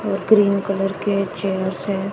और green colour के chairs है।